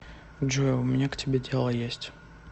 джой у меня к тебе дело есть